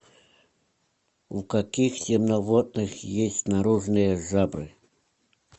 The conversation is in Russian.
у каких земноводных есть наружные жабры